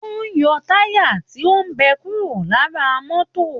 Wọ́n ń yọ táyà tí ó bẹ kúró lara mọ́tò